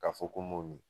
Ka fɔ ko n m'o min